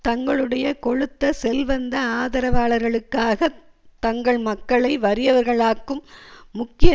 தங்களுடைய கொழுத்த செல்வந்த ஆதரவாளர்களுக்காகத் தங்கள் மக்களை வறியவர்காளாக்கும் முக்கிய